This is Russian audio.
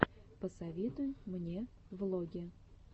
посоветуй мне влоги